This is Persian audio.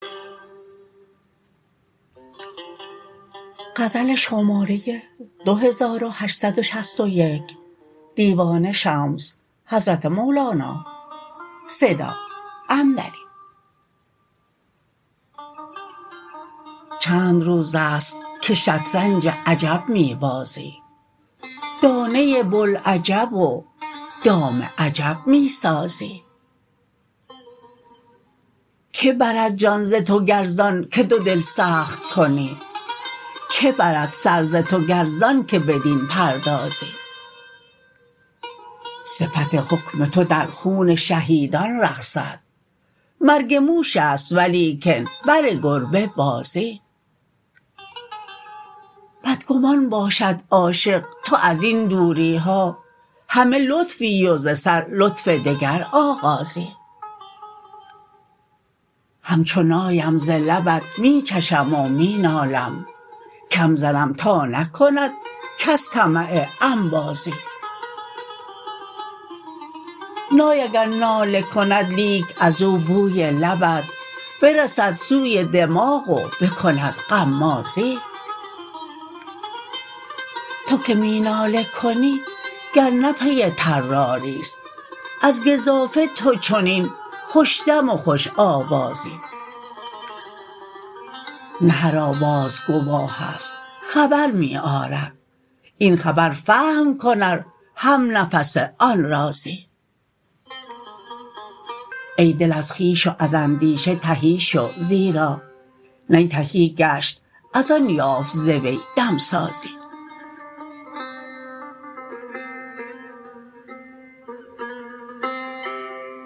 چند روز است که شطرنج عجب می بازی دانه بوالعجب و دام عجب می سازی کی برد جان ز تو گر ز آنک تو دل سخت کنی کی برد سر ز تو گر ز آنک بدین پردازی صفت حکم تو در خون شهیدان رقصد مرگ موش است ولیکن بر گربه بازی بدگمان باشد عاشق تو از این ها دوری همه لطفی و ز سر لطف دگر آغازی همچو نایم ز لبت می چشم و می نالم کم زنم تا نکند کس طمع انبازی نای اگر ناله کند لیک از او بوی لبت برسد سوی دماغ و بکند غمازی تو که می ناله کنی گر نه پی طراری است از گزافه تو چنین خوش دم و خوش آوازی نه هر آواز گواه است خبر می آرد این خبر فهم کن ار همنفس آن رازی ای دل از خویش و از اندیشه تهی شو زیرا نی تهی گشت از آن یافت ز وی دمسازی